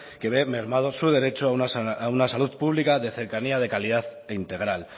que ve mermado su derecho a una salud pública de cercanía de calidad e integral